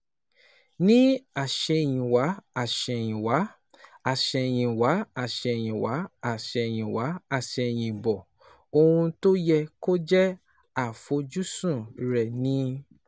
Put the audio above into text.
Ní àsẹ̀yìnwá àsẹ̀yìnwá àsẹ̀yìnwá àsẹ̀yìnwá àsẹ̀yìnwá àsẹ̀yìnbọ̀, ohun tó yẹ kó jẹ́ àfojúsùn rẹ̀ ni